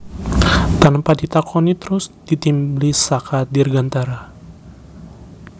Tanpa ditakoni terus ditimblis saka dirgantara